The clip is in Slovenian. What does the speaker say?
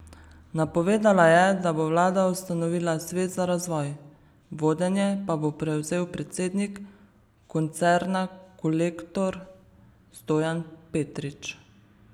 Napovedala je, da bo vlada ustanovila svet za razvoj, vodenje pa bo prevzel predsednik koncerna Kolektor Stojan Petrič.